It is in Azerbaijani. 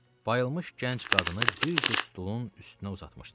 Bayılmış gənc qadını bir cüt stolun üstünə uzatmışdılar.